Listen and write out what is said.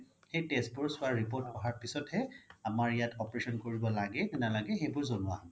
সেই test বোৰ report অহাৰ পিছতহে আমাৰ ইয়াত operation কৰিব লাগে নে নালাগে সেইবোৰ জ্নোৱা হ'ব